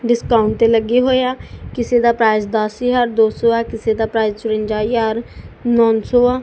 Discount ਲੱਗੇ ਹੋਏ ਆ ਕਿਸੇ ਦਾ ਪ੍ਰਾਈਜ ਦਸ ਹਜ਼ਾਰ ਦੋ ਸੋ ਆ ਕਿਸੇ ਦਾ ਪ੍ਰਾਈਜ ਚਰੰਜਾ ਹਜ਼ਾਰ ਨੌ ਸੋ ਆ।